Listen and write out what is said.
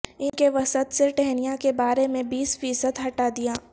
ان کے وسط سے ٹہنیاں کے بارے میں بیس فیصد ہٹا دیا